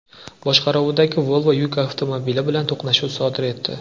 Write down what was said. boshqaruvidagi Volvo yuk avtomobili bilan to‘qnashuv sodir etdi.